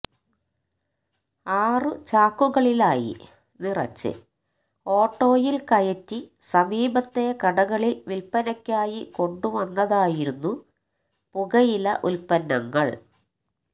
ആറ് ചാക്കുകളിലായി നിറച്ച് ഓട്ടോയില് കയറ്റി സമീപത്തെ കടകളില് വില്പ്പനയ്ക്കായി കൊണ്ടുവന്നതായിരുന്നു പുകയില ഉത്പന്നങ്ങള്